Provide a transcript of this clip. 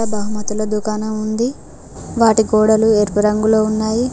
బహుమతుల దుకాణం ఉంది వాటి గోడలు ఎరుపు రంగులో ఉన్నాయి.